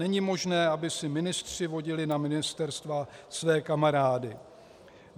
Není možné, aby si ministři vodili na ministerstva své kamarády.